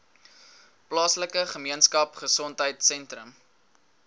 plaaslike gemeenskapgesondheid sentrum